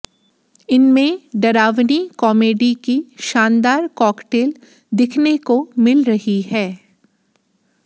इनमें डरावनी कॉमेडी की शानदार कॉकटेल दिखने को मिल रही है